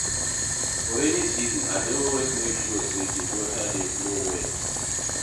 for rainy season I dey always mek sure say di gutter dey flow well